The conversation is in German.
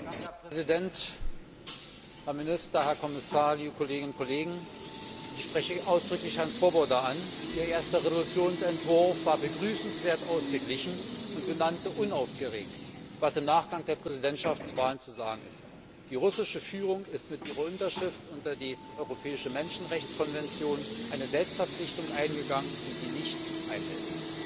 Herr Präsident, Herr Minister, Herr Kommissar, liebe Kolleginnen und Kollegen, ich spreche ausdrücklich Herrn Swoboda an. Ihr erster Entschließungsentwurf war begrüßenswert ausgeglichen und benannte unaufgeregt, was im Nachgang der Präsidentschaftswahlen zu sagen ist. Die russische Führung ist mit ihrer Unterschrift unter die Europäische Menschenrechtskonvention eine Selbstverpflichtung eingegangen, die sie nicht einhält.